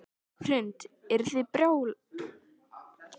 Hrund: Eruð þið byrjaðar að plana sjötugsafmælið?